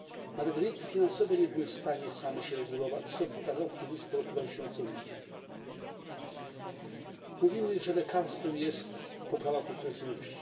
Nawet rynki finansowe nie były w stanie same się regulować, co pokazał kryzys po roku 2008. Mówimy, że lekarstwem jest poprawa konkurencyjności.